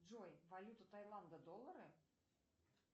джой валюта таиланда доллары